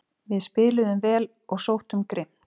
Við spiluðum vel og sóttum grimmt